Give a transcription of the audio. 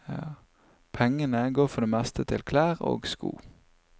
Pengene går for det meste til klær og sko.